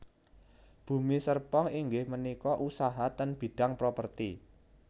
Bumi Serpong inggih menika usaha ten bidang properti